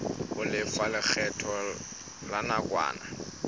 ho lefa lekgetho la nakwana